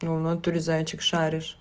ну в натуре зайчик понимаешь